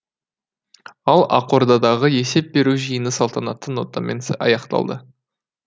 ал ақордадағы есеп беру жиыны салтанатты нотамен аяқталды